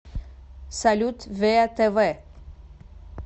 салют веа тэ вэ